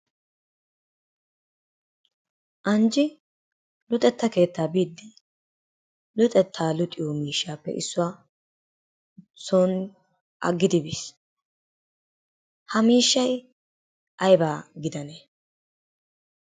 Anjji luxetta keettaa biiddi luxettaa luxiyo miishshaappe issuwa son aggidi biis. Ha miishshay aybaa gidanee?